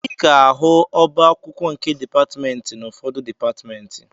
Ị ga-ahụ ọba akwụkwọ nke dịpatmentị n'ufọdụ dịpatmentị